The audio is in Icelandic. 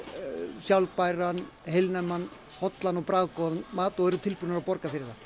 sjálfbæran heilnæman hollan og bragðgóðan mat og eru tilbúnir að borga fyrir það